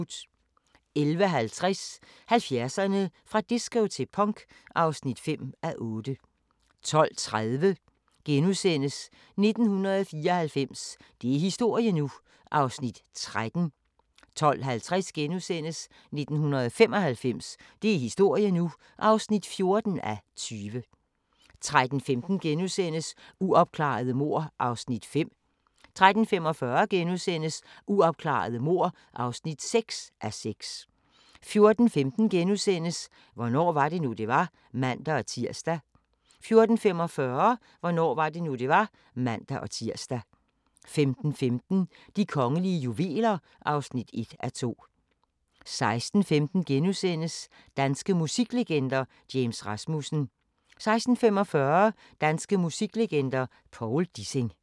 11:50: 70'erne: Fra disco til punk (5:8) 12:30: 1994 – det er historie nu! (13:20)* 12:50: 1995 – det er historie nu! (14:20)* 13:15: Uopklarede mord (5:6)* 13:45: Uopklarede mord (6:6)* 14:15: Hvornår var det nu, det var? *(man-tir) 14:45: Hvornår var det nu, det var? (man-tir) 15:15: De kongelige juveler (1:2) 16:15: Danske musiklegender: James Rasmussen * 16:45: Danske musiklegender: Povl Dissing